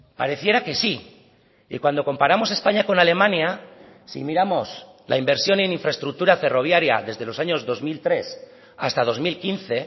pareciera que sí y cuando comparamos españa con alemania si miramos la inversión en infraestructura ferroviaria desde los años dos mil tres hasta dos mil quince